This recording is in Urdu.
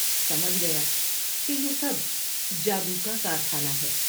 سمجھ گیا کہ یہ سب جادو کا کارخانہ ہے ۔